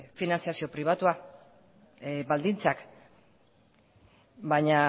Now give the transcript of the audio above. finantziazio pribatua baldintzak baina